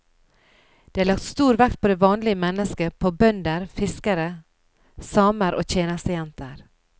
Det er lagt stor vekt på det vanlige menneske, på bønder, fiskere, samer, tjenestejenter.